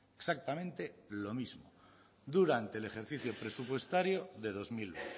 exactamente lo mismo durante el ejercicio presupuestario de dos mil